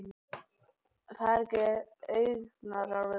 Ég þekki augnaráð þitt.